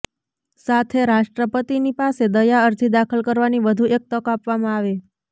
સાથે રાષ્ટ્રપતિની પાસે દયા અરજી દાખલ કરવાની વધુ એક તક આપવામાં આવે